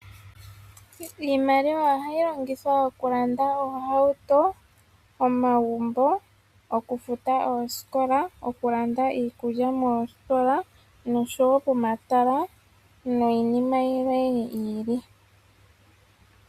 Iiimaliwa ohayi longithwa okulanda oohauto , omagumbo, okufuta oosikola , okulanda iikulya moositola noshowoo pomatala niinima yimwe yiili.